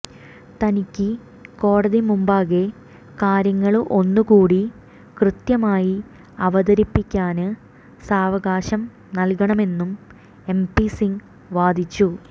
തനിക്ക് കോടതി മുമ്പാകെ കാര്യങ്ങള് ഒന്നുകൂടി കൃത്യമായി അവതരിപ്പിക്കാന് സാവകാശം നല്കണമെന്നും എപി സിങ് വാദിച്ചു